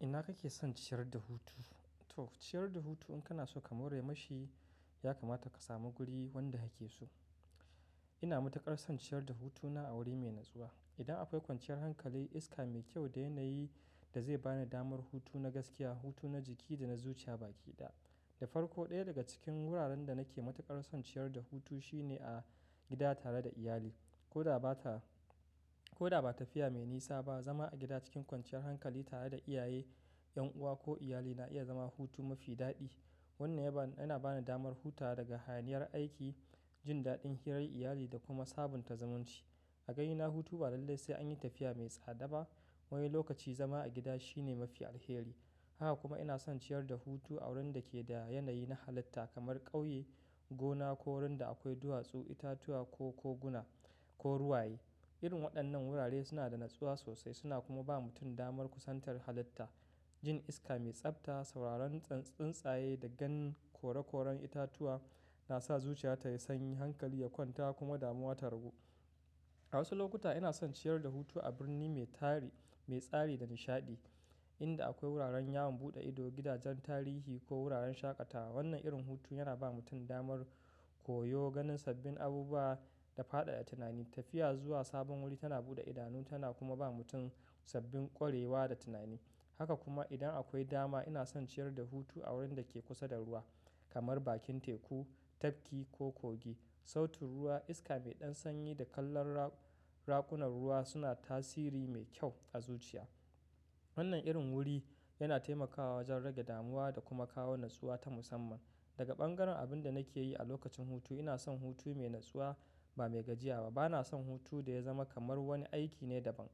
Ina kake son ciyar da hutu? To, ciyar da hutu in kana so ka more mashi, ya kamata ka samu guri wanda kake so. Ina matuƙar son ciyar da hutuna a wuri mai natsuwa. Idan akwai kwanciyar hankali, iska mai kyau da yanayi da zai bani damar hutu na gaskiya, hutu na jiki da na zuciya baki ɗaya. Da farko, ɗaya daga cikin wuraren da nake matuƙar son ciyar da hutu shine a gida tare da iyali, koda baka Koda ba tafiya mai nisa ba, zama a gida cikin kwanciyar hankali tare da iyaye, ƴan uwa ko iyali na iya zama hutu mafi daɗi. Wannan yana bani damar hutawa daga hayaniyar aiki, jin daɗin hirar iyali da kuma sabunta zumunci. A ganina, hutu ba lallai sai an yi tafiya mai tsada ba, Wani lokaci zama a gida shine mafi alheri. Haka kuma ina son ciyar da hutu a wurin da ke da yanayi na halitta kamar ƙauye, gona ko wurin da akwai duwatsu, itatuwa ko koguna ko ruwaye. Irin waɗannan wurare suna da natsuwa sosai, suna kuma ba mutum damar kusantar halitta. Jin iska mai tsabta, sauraron tsintsaye da ganin kore-koren itatuwa na sa zuciya tayi sanyi, hankali ya kwanta kuma damuwa ta ragu. A wasu lokuta ina son ciyar da hutu a birni mai tsari da nishaɗi inda akwai wuraren yawon buɗe ido, gidajen tarihi, ko wuraren shaƙatawa. Wannan irin hutu yana ba mutum damar koyo, ganin sabbin abubuwa da faɗaɗa tunani. Tafiya zuwa sabon wuri tana buɗe idanu tana kuma ba mutum sabbin ƙwarewa da tunani. Haka kuma idan akwai dama, ina son ciyar da hutu a wurin da ke kusa da ruwa, kamar bakin teku, tafki ko kogi. Sautin ruwa, iska mai ɗan sanyi da kanlar raƙunar ruwa suna tasiri mai kyau a zuciya. Wannan irin wuri yana taimakawa wajen rage damuwa da kuma kawo natsuwa ta musamman. Daga ɓangaren abin da nake yi a lokacin hutu, ina son hutu mai natsuwa ba mai gajiya ba. Bana son hutu da ya zama kamar wani aiki ne daban,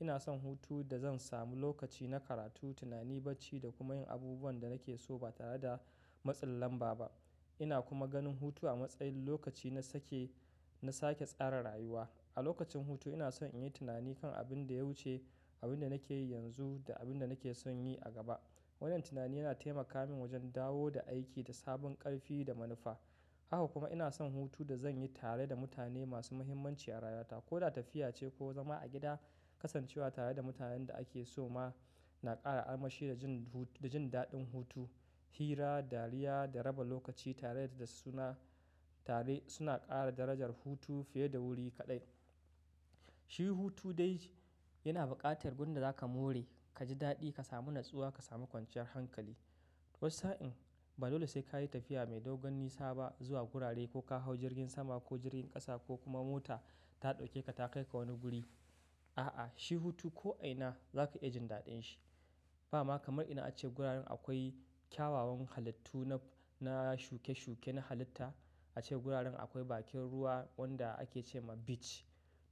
ina son hutu da zan sami lokaci na karatu, tunani, bacci da kuma yin abubuwan da nake so ba tare da matsin lamba ba. Ina kuma ganin hutu a matsayin lokaci na sake-- na sa ke tsara rayuwa. A lokacin hutu ina son in yi tunani kan abin da ya wuce, abin da nake yi yanzu da abin da nake son yi a gaba. Wannan tunani yana taimaka min wajen dawo da aiki da sabon ƙarfi da manufa. Haka kuma ina son hutu da zan yi tare da mutane masu mahimmanci a rayuwata. Koda tafiya ce ko zama a gida, kasancewa tare da mutanen da ake so ma, na ƙara armashi da jin daɗin hutu. Hira, dariya da raba lokaci tare suna ƙara darajar hutu fiye da wuri kaɗai. Shi hutu dai, yana buƙatar gurin da za ka more, ka ji daɗi, ka samu natsuwa, ka samu kwanciyar hankali. Wani sa'in ba dole sai ka yi tafiya mai dogon nisa ba zuwa gurare, ko ka hau jirgin sama ko jirgin ƙasa ko kuma mota, ta ɗauke ka ta kai ka wani guri. A'a, shi hutu ko a ina za ka iya jin daɗin shi. Ba ma kamar idan ace guraren akwai kyawawan halittu na shuke-shuke na halitta, Ace guraren akwai bakin ruwa, wanda ake ce ma beach.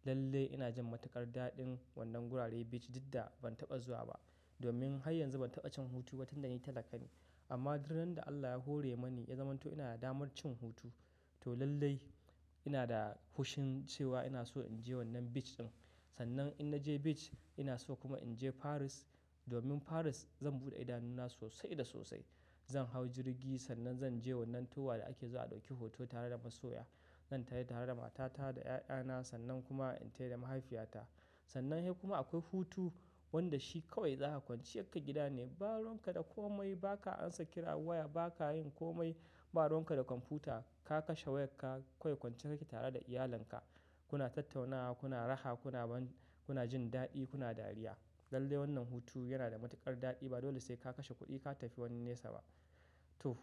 Lallai ina jin matuƙar daɗin wannan gurare, beach, duk da ban taɓa zuwa ba. Domin har yanzu ban taɓa cin hutu ba tinda ni talaka ne. Amma duk ran da Allah ya hore mani ya zamanto ina da damar cin hutu, to lallai ina da hushin cewa ina so in je wannan beach ɗin. Sannan in na je beach, ina so kuma in je Paris, domin Paris zan buɗe idanuna sosai da sosai. Zan hau jirgi, sannan zan je wannan towa da ake zuwa a ɗauki hoto tare da masoya. Zan tafi tare da matata da ƴaƴana sannan kuma in tafi da mahaifiyata. Sannan hai kuma akwai hutu, wanda shi kawai za ka kwanciyar ka gida ne, ba ruwan ka da komai, ba ka ansa kira waya, ba ka yin komai, ba ruwan ka da kwamfuta, ka kashe wayarka, kawai kwance ka ke tare da iyalinka. Kuna tattaunawa, kuna raha, kuna jin daɗi, kuna dariya. Lallai wannan hutu yana da matuƙar daɗi. Ba dole sai ka kashe kuɗi ka tafi wani nesa ba. To.